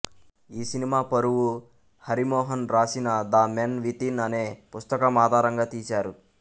ఈ సినిమా పరువు హరిమోహన్ రాసిన ద మెన్ వితిన్ అనే పుస్తకం ఆధారంగా తీశారు